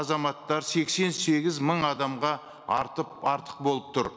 азаматтар сексен сегіз мың адамға артық болып тұр